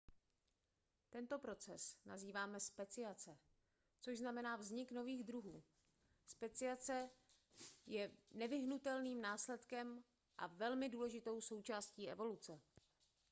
tento proces nazýváme speciace což znamená vznik nových druhů speciace je nevyhnutelným následkem a velmi důležitou součástí evoluce